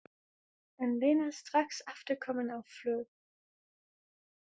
En Lena strax aftur komin á flug.